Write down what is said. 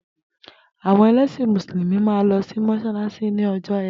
Àwo̩n e̩lésìn Mùsùlùmí máa ń lo̩ sí mó̩s̩álás̩í ní o̩jó̩ E̩tì